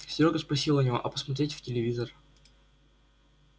серёга спросил у него а посмотрел в телевизор